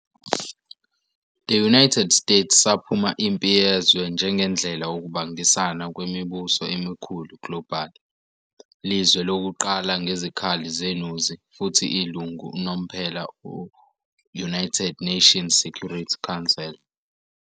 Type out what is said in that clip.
The United States saphuma iMpi Yezwe II njengendlela ukubangisana kwemibuso emikhulu global, lizwe lokuqala ngezikhali zenuzi, futhi ilungu unomphela United Nations Security Council.